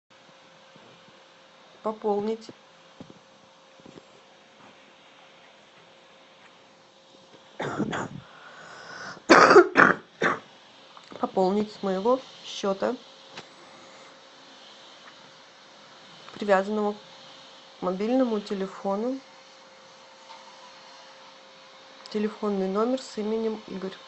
пополнить пополнить с моего счета привязанного к мобильному телефону телефонный номер с именем игорь